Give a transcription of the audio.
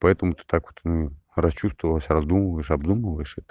поэтому ты так вот расчувствовалась раздумываешь обдумываешь это